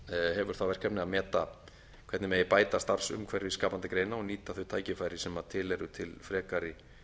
hefur það verkefni að meta hvernig megi bæta starfsumhverfi skapandi greina og nýta þau tækifæri sem til eru til frekari